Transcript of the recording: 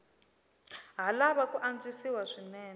ha lava ku antswisiwa swinene